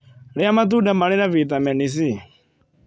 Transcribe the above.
Rĩa matunda marĩ na vĩtamenĩ C